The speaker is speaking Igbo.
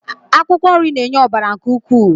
Akwụkwọ nri na-enye ọbara nke ukwuu.